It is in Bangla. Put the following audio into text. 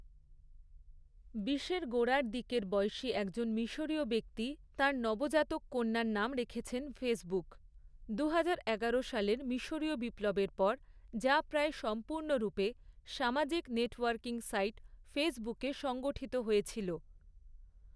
বিশের গোড়ার দিকের বয়সি একজন মিশরীয় ব্যক্তি তাঁর নবজাতক কন্যার নাম রেখেছেন 'ফেসবুক', দুহাজার এগারো সালের মিশরীয় বিপ্লবের পর, যা প্রায় সম্পূর্ণরূপে সামাজিক নেটওয়ার্কিং সাইট ফেসবুকে সংগঠিত হয়েছিল।